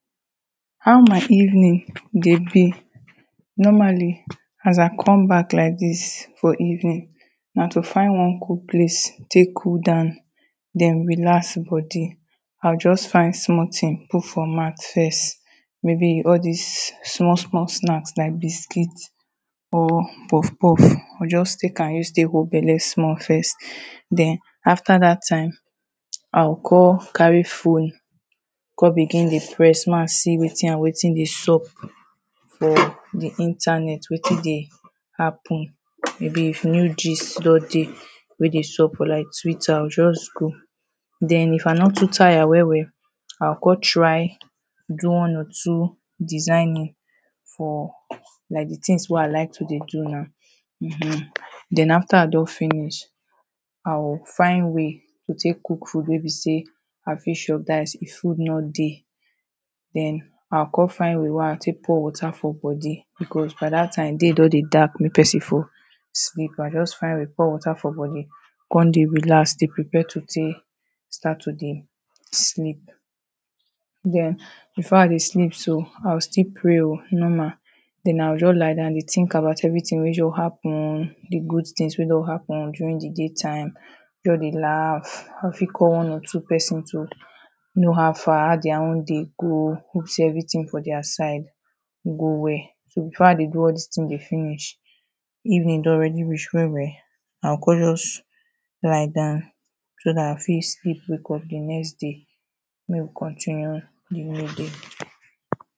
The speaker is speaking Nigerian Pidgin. How my evening de be normally as i come back like this for evening na to find one cool place take cool down then relax de body i go just find small thing put for mouth first maybe all this small small snacks like biscuit or puff puff, i go just take am rest take hold belle small first then after that time, i go came carry phone come begin de press ma see wetin and wetin de sup for the internet, wetin de happen maybe if new gist don de wey de sup for like twitter i go just go then if i no too tire well well i go come try do one or two designing for, like the things wey i like to de do now hmhm, then after i don finish i go find way to take cook food wey be say i fit chop, that is if food no de then i go come find way wey i go take pour water for body beacause by that time day don de dark wey person for sleep. i just find way pour water for body come de relax de prepare to take start to de sleep then, before i de sleep so, i go still pray o normal then i go just lie down de think about everything we just happen, the good things wey don happen during the day time just de laugh, i fit one or two person to know how far, how their own day go, hope say everything for their side go well. so before i de do all this thing de finish evening don already reach well I come just lie down then i fit sleep wake up the next day make we continue de way e de.